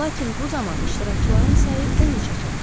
Lakin bu zaman iştirakçıların sayı 13-ə çatır.